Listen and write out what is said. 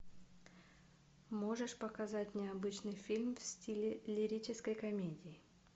можешь показать необычный фильм в стиле лирической комедии